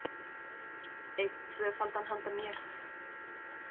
Einn tvöfaldan handa mér